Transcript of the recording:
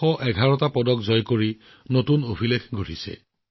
এই খেলসমূহত ১১১টা পদক লাভ কৰি ভাৰতে এক নতুন ইতিহাসৰ সৃষ্টি কৰিছে